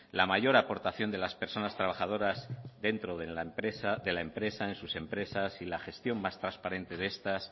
la mayor aportación de las personas trabajadores dentro de las empresas en sus empresas y la gestión más transparente de estas